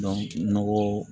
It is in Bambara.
nɔgɔ